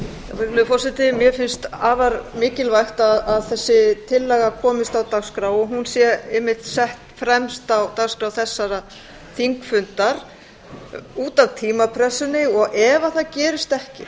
virðulegur forseti mér finnst afar mikilvægt að þessi tillaga komist á dagskrá og hún verði einmitt sett fremst á dagskrá þessa þingfundar út af tímapressunni og ef það gerist ekki